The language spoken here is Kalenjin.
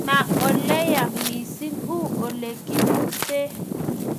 Ma ole yaa mising, uu olegimute